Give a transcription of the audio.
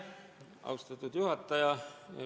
Austatud juhataja!